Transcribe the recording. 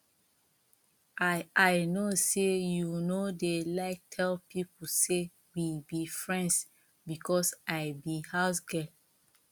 i i no say you no dey like tell people say we be friends because i be housegirl